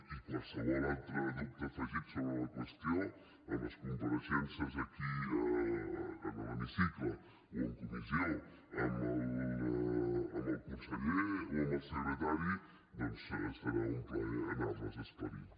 i qualsevol altre dubte afegit sobre la qüestió en les compareixences aquí a l’hemicicle o en comissió amb el conseller o amb el secretari doncs serà un plaer anar les esclarint